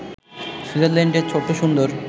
সুইজারল্যান্ডের ছোট্ট সুন্দর